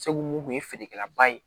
Segu mun kun ye feerekɛlaba ye